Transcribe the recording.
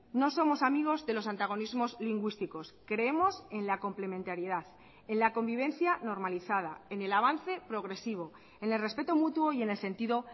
no somos amigos de los antagonismos lingüísticos creemos en la complementariedad en la convivencia normalizada en el avance progresivo en el respeto mutuo y en el sentido